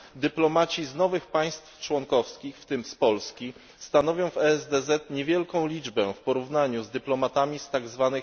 Dyplomaci z nowych państw członkowskich, w tym z Polski, stanowią w ESDZ niewielką liczbę w porównaniu z dyplomatami z tzw.